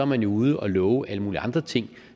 man jo ude og love alle mulige andre ting